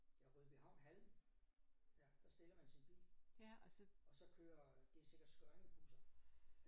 Ja Rødbyhavn hallen ja der stiller man sin bil og så kører de sikkert Skørringe busser